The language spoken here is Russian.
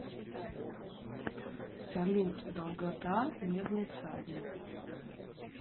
салют долгота медный всадник